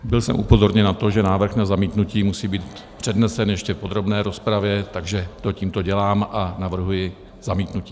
Byl jsem upozorněn na to, že návrh na zamítnutí musí být přednesen ještě v podrobné rozpravě, takže to tímto dělám a navrhuji zamítnutí.